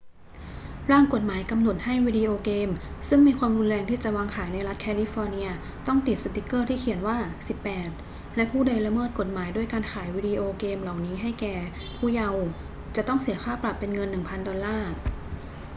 ร่างกฎหมายกำหนดให้วิดีโอเกมซึ่งมีความรุนแรงที่จะวางขายในรัฐแคลิฟอร์เนียต้องติดสติกเกอร์ที่เขียนว่า 18 และผู้ใดละเมิดกฎหมายด้วยการขายวีดิโอเกมเหล่านี้แก่ผู้เยาว์จะต้องเสียค่าปรับเป็นเงิน 1,000 ดอลลาร์